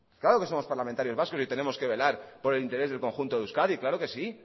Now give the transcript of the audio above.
claro que somos parlamentarios vascos y tenemos que velar por el interés del conjunto de euskadi claro que sí